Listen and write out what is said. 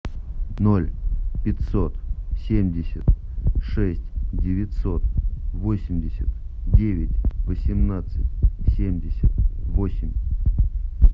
ноль пятьсот семьдесят шесть девятьсот восемьдесят девять восемнадцать семьдесят восемь